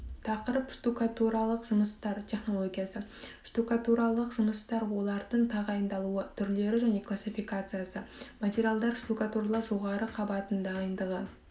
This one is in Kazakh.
тақырып штукатуралық жұмыстар технологиясы штукатуралық жұмыстар олардың тағайындалуы түрлері және классификациясы материалдар штукатуралау жоғары қабатының дайындығы